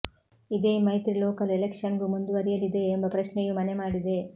ಇದೇ ಮೈತ್ರಿ ಲೋಕಲ್ ಎಲೆಕ್ಷನ್ಗೂ ಮುಂದುವರಿಯಲಿದೆಯೇ ಎಂಬ ಪ್ರಶ್ನೆಯೂ ಮನೆ ಮಾಡಿದೆ